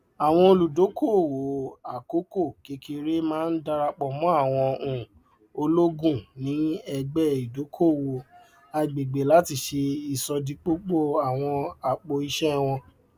àwọn olùdókòowó àkókòkékèré máa ń darapọ mọ àwọn um ológun ní ẹgbẹ ìdókòowó àgbègbè láti ṣe ìṣòdípòpọ àwọn apòìṣé wọn